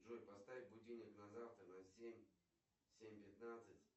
джой поставь будильник на завтра на семь семь пятнадцать